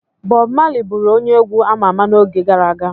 Bọbụ Mali bụụrụ onye egwu ama ama n'oge gara aga.